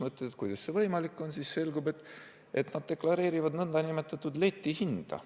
Mõtled, kuidas see võimalik on, ja siis selgub, et nad deklareerivad nn letihindu.